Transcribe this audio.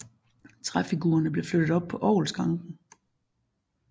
Træfigurerne blev flyttet op på orgelskranken